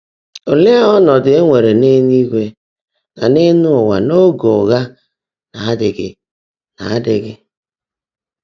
Óleé ọ́nọ́dụ́ è nwèrè n’élúigwè nà n’ụ́wà n’óge ụ́ghá ná-ádịghị? ná-ádịghị?